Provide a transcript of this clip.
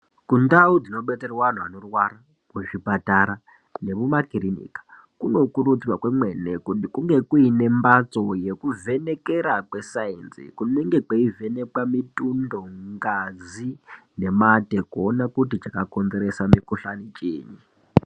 Kundau dzino betserwe anhu anorwara ku zvipatara nemuma kirinika kuno kurudzirwa kwemwene kuti kunge kuine mbatso yeku vhenekera kwe sainzi kunenge kwei vhenekwa mitundo ngazi ne mate kuona kuti chaka konzeresa mi kuhlani chiinyi.